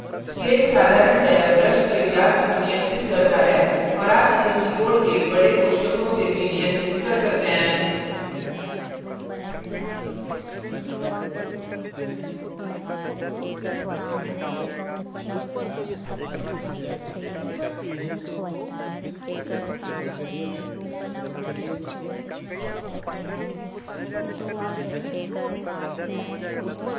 scale पैमाना साधारणतया brush के व्यास को नियंत्रित करता है और आप इसे keyboard के बड़े कोष्ठकों से भी नियंत्रित कर सकते हैं